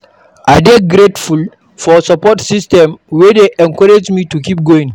I dey grateful for support systems wey dey encourage me to keep going.